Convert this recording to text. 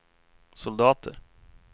soldater